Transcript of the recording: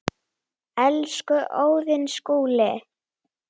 Elsku Óðinn Skúli.